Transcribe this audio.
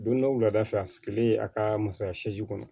Don dɔ wulada fɛ a sigilen a ka masaya kɔnɔ